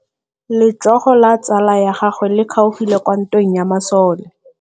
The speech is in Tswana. Letsôgô la tsala ya gagwe le kgaogile kwa ntweng ya masole.